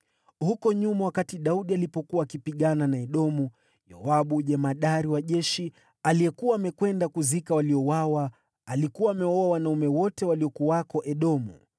Huko nyuma wakati Daudi alipokuwa akipigana na Edomu, Yoabu jemadari wa jeshi, aliyekuwa amekwenda kuzika waliouawa, alikuwa amewaua wanaume wote waliokuwako Edomu.